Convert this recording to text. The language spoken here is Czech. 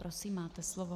Prosím, máte slovo.